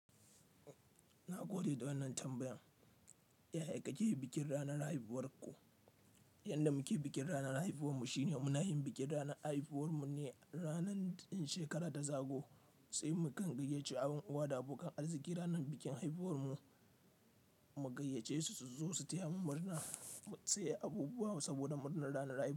Na gode da wannan tambayan. Yaya kake yi bikin ranar haihuwar ku? Yanda muke bikin ranar haifuwan mu shine muna yin bikin ranar haifuwar mu ne ranan ɗa shekara ta zago, sai mu gangayece abin uwa da abokan arziki ranar bikin haifuwar mu, mu gayyace su su zo su taya mu murna mu sai abubuwa saboda murnar ranar haifuwar mu.